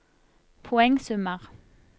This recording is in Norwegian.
poengsummer